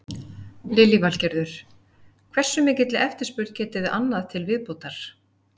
Þú meinar óttast ég að vera ekki áfram með liðið?